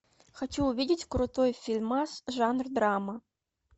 хочу увидеть крутой фильмас жанр драма